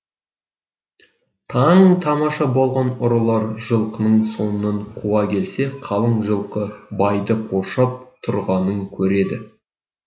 таң тамаша болған ұрылар жылқының соңынан қуа келсе қалың жылқы байды қоршап тұрғанын көреді